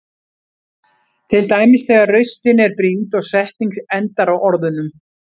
Til dæmis þegar raustin er brýnd og setning endar á orðunum.